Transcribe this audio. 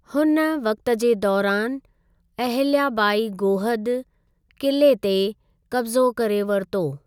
हुन वक़्ति जे दौरानि, अहिल्या बाई गोहद किले ते क़ब्ज़ो करे वरितो ।